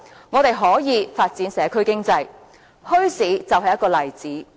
我們可以發展社區經濟，而墟市就是一個例子。